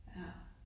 Ja